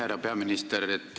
Härra peaminister!